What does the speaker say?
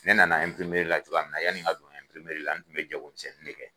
Ne nana la cogoya min na yan nin ka don la n tun bɛ jagomisɛnni de kɛ.